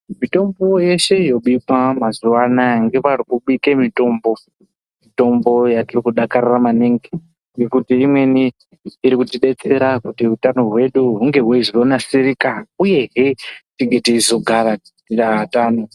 Mitombo yeshe yobikwa mazuvaanaa nevari kubika mitombo . Mitombo yatiri kudakarira maningi ngekuti imweni iri kutidetsera kuti utano hwedu hunge hweizonasirika uyehee teizogara tiri atano .